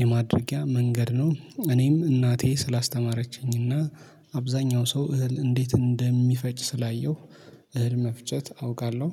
የማድረጊያ መንገድ ነው። እኔም እናቴ ስላስተማረችኝና አብዛኛው ሰው እህል እንዴት እንደሚፈጭ ስላየሁ እህል መፍጨት አውቃለሁ